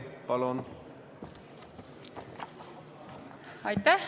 Palun!